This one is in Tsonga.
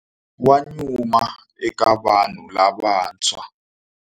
Wa nyuma eka vanhu lavantshwa.